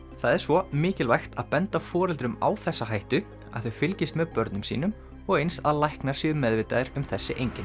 það er svo mikilvægt að benda foreldrum á þessa hættu að þau fylgist með börnum sínum og eins að læknar séu meðvitaðir um þessi einkenni